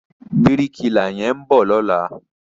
Bíríkìlà yẹn ń bọ̀ lọ́la.